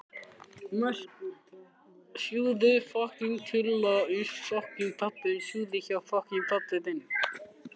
Mörk, hvar er dótið mitt?